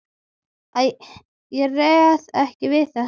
Æ, ég réð ekki við þetta.